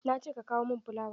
Na ce ka kawo mun fulawa!